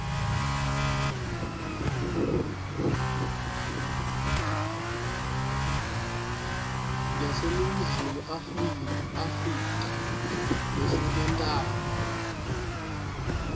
yaseningizimu afrika lesebentako